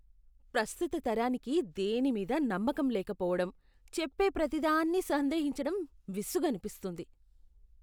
ప్రస్తుత తరానికి దేనిమీదా నమ్మకం లేకపోవడం, చెప్పే ప్రతిదాన్ని సందేహించటం విసుగనిపిస్తుంది.